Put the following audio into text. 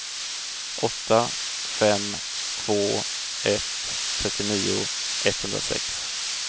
åtta fem två ett trettionio etthundrasex